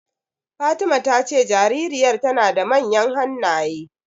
Fatima ta ce jaririyar tana da manyan hannaye.